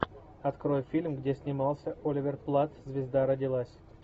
открой фильм где снимался оливер платт звезда родилась